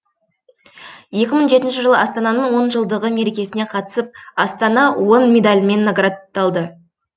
екі мың жетінші жылы астананың он жылдығы мерекесіне қатысып астана он медалімен наградталды